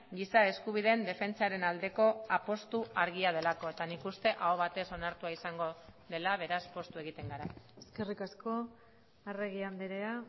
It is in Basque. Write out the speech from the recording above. giza eskubideen defentsaren aldeko apustu argia delako eta nik uste aho batez onartua izango dela beraz poztu egiten gara eskerrik asko arregi andrea